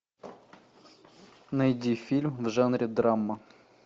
найди фильм в жанре драма